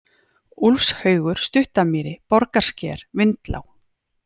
Úlfshaugur, Stuttamýri, Borgarsker, Vindlág